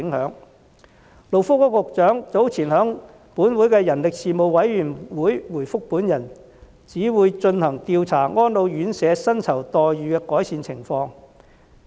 勞工及福利局局長早前在立法會人力事務委員會的會議上回覆我，表示會進行調查以了解安老院舍薪酬待遇的改善情況。